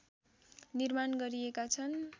निर्माण गरिएका छन्